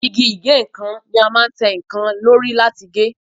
Igi ìgéǹkan ni a máa ń tẹ́ nǹkan lóri láti gé